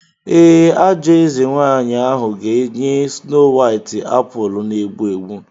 Ee, ajọ eze nwanyị ahụ ga-enye Snow White apụl na-egbu egbu.